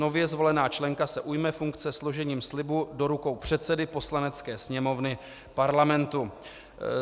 Nově zvolená členka se ujme funkce složením slibu do rukou předsedy Poslanecké sněmovny Parlamentu.